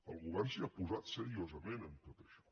el govern s’hi ha posat seriosament en tot això